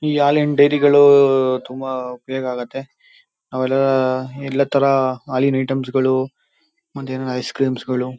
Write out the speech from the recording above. E ಹಾಲಿನ್ ಡೈರಿಗಳು ತುಂಬಾ ಉಪಯೋಗ ಆಗುತ್ತೆ. ಎಲ್ಲಾ ತರ ಹಾಲಿನ್ ಐಟೆಮ್ಸ ಗಳು ಮತ್ತೆ ಏನಾದ್ರು ಐಸ್ಕ್ರಿಮ್ಸ್ ಗಳು.--